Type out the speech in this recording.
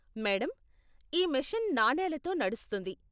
Madam, ఈ machine నాణేలతో నడుస్తుంది.